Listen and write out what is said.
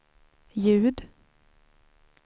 ljud